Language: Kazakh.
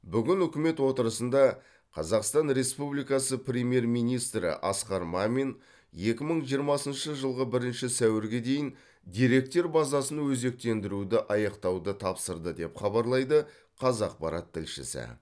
бүгін үкімет отырысында қазақстан республикасы премьер министрі асқар мамин екі мың жиырмасыншы жылғы бірінші сәуірге дейін деректер базасын өзектендіруді аяқтауды тапсырды деп хабарлайды қазақпарат тілшісі